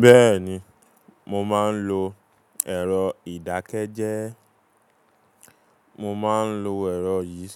Bẹ́ẹ̀ni, mo máa ń lo ẹ̀rọ ìdákẹ́jẹ́. Mo máa ń lo ẹ̀rọ yìí